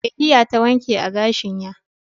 eh hiya ta wanke agashin ya.